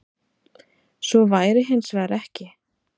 Svo væri hins vegar ekki